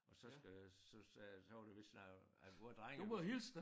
Og så skal så sagde jeg så var der vist snak om at hvor drengene